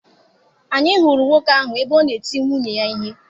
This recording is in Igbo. Anyị hụrụ nwoke ahụ ebe ọ na eti nwunye ya ihe.